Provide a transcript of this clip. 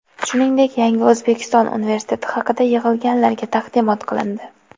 shuningdek "Yangi O‘zbekiston" universiteti haqida yig‘ilganlarga taqdimot qilindi.